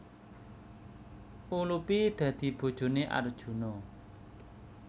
Ulupi dadi bojoné Arjuna